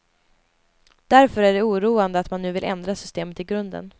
Därför är det oroande att man nu vill ändra systemet i grunden.